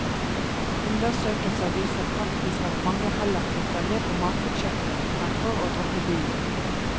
Undersøkelser viser faktisk at mange heller kutter ned på matbudsjettet fremfor å droppe bilen.